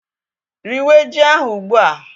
Riwé ji ahụ ugbu a!